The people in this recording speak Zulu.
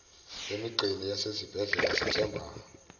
emigqeni yasezibhedlela sithemba